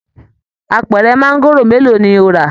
Àpẹrẹ maangoro mélòó ni o ra?